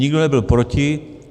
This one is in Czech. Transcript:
Nikdo nebyl proti.